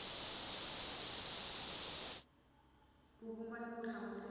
ku vumba ni ku hlamusela